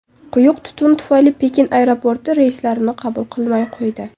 Quyuq tutun tufayli Pekin aeroporti reyslarni qabul qilmay qo‘ydi.